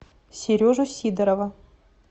сережу сидорова